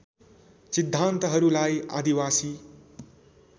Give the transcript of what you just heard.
सिद्धान्तहरूलाई आदिवासी